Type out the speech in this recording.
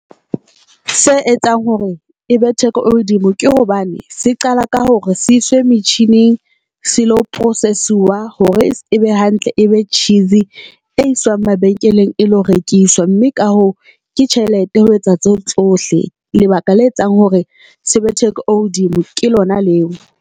Se etsang hore e be theko e hodimo ke hobane se qala ka hore se iswe metjhining. Selo process-siwa hore ebe hantle e be tjhisi e iswang mabenkeleng e lo rekiswa, mme ka hoo ke tjhelete ho etsa tseo tsohle. Lebaka le etsang hore se be theko e hodimo ke lona leo.